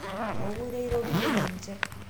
Mokure iroriye ninje